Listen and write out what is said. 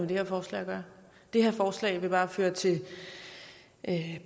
det her forslag at gøre det her forslag vil bare føre til